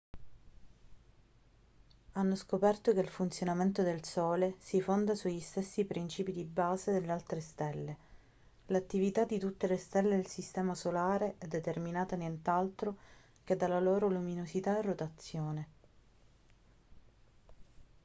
hanno scoperto che il funzionamento del sole si fonda sugli stessi principi di base delle altre stelle l'attività di tutte le stelle del sistema solare è determinata nient'altro che dalla loro luminosità e rotazione